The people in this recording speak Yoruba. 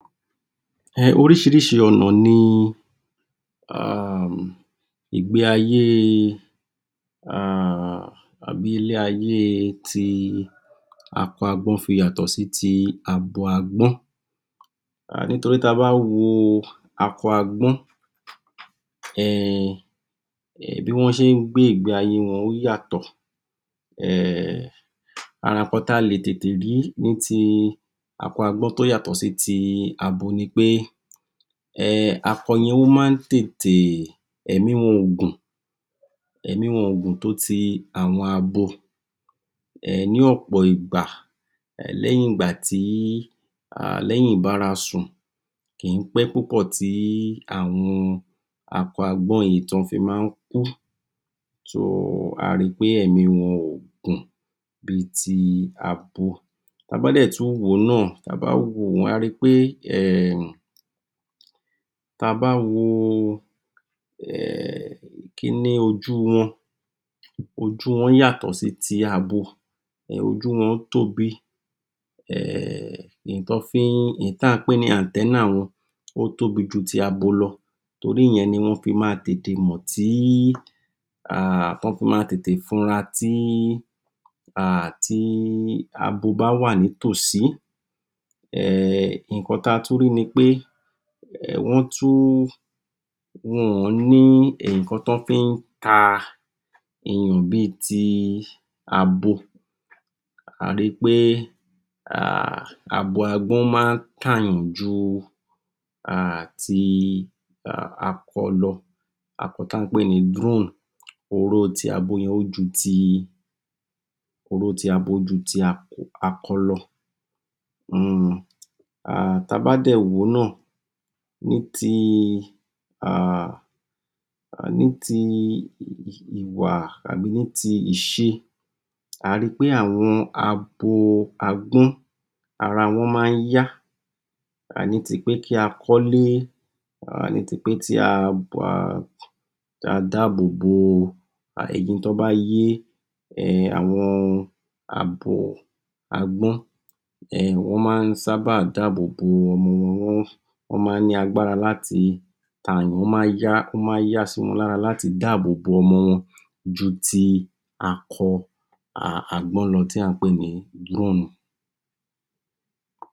um oríṣiríṣi ọnà ni um ìgbé ayé um àbí ilé ayé ti akọ agbọ́n fi yàtọ̀ sí ti abo agbọ́n um nítorí ta bá wo akọ agbọ́n um bí wọ́n ṣé ń gbé ìgbé ayé wọn, ó yàtò um, ara nǹkan ta lè tètè rí ni ti akọ agbọ́n tó yàtọ̀ sábo ni wí pe, um ako ni ó máa ń tètè; ẹ̀mí wọn ógún, ẹ̀mí wọn ògùn tó ti àwọn abo um ní ọ̀pọ̀ ìgbà lẹ́yyìn ìgbá tí; lẹ́yìn ìbárasùn, kì í pẹ́ púpọ̀ tí àwọn akọ agbọ́n yìí tọ́ fi máa ń kú (so) a ri pé ẹ̀mí wọn ògùn bí ti abo. Ta bá dè tún wò ó náà, ta bá wò ó, àá ri pé um ta bá wo kiní ojú wọn, ojú wọn yàtò sí ti abo, ojú wọn tóbi um èyí tọ́ fí ń, tá ń pè ní (anthenna) wọn, ó tóbi ju ti abo lọ torí ìyẹn ni wọn fí ma tètè mọ̀ tí um tí wọn fi ma tètè fura tí um tí abo bá wà ní tòsí um nǹkan ta tún rí nipé, wọn tún, wọ́n ò ń ní nǹkan tí wọ́n fí ń ta eyàn bi ti abo, a ri pé um abo agbọ́n máa ń tàyàn um ju ti um akọ lọ, ako tí à ń pẹ, oró tí abo yẹn ó ju ti, oró tí abo ó ju ti akọ lọ um, ta bá dè wò ó náà ní ti um ní ti ìwà àbí ní ti ìṣe, àá ri pé àwọn abo agbọ́n, ara wọ́n máa ń yá ní ti pé kí a kọ́lé um, ní ti pé kí a dáàbò bo ẹyin tọ́ bá yé, um àwọn abo agbọ́n um wọ́n máa ń sábà dáàbò bo ọmọ wọn, wọn máa ń ní agbára láti tààyàn, ó máa ń yá, ó máa ń yá sí wọn lára láti dáàbò ọmọ wọn ju ti akọ um agbọ́n lọ tí à ń pè ni.